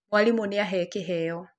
Mwaarimũ nĩ ahee kĩheo.